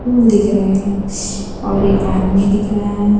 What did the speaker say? फूल दिख रहे हैं और एक आदमी दिख रहा है।